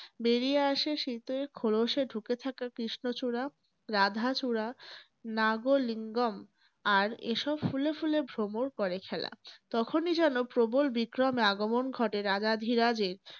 বেড়িয়ে আসে শীতের খোলসে ঢুকে থাকা কৃষ্ণচূড়া, রাধাচূড়া, নাগলিঙ্গম। আর এসব ফুলে ফুলে ভ্রমর করে খেলা। তখনই যেন প্রবল বিক্রমে আগমন ঘটে রাজাধিরাজের।